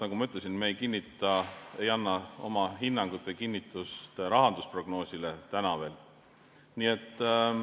Nagu ma ütlesin, me ei anna oma hinnangut või kinnitust rahandusprognoosile, täna veel mitte.